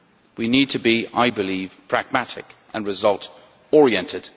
We need to be, I believe, pragmatic and result oriented.